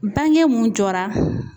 Bange mun jɔra